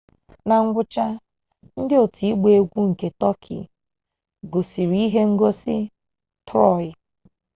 na ngwụcha ndị otu igba egwu nke tọki gosiri ihe ngosi troị